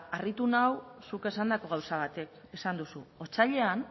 harritu nau zuk esandako gauza batek esan duzu otsailean